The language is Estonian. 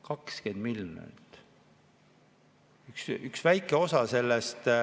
20 miljonit.